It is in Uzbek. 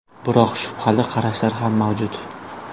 Biroq shubhali qarashlar ham mavjud.